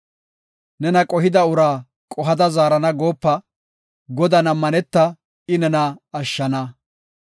Nena qohida uraa qohada zaarana goopa; Godan ammaneta; I nena ashshana.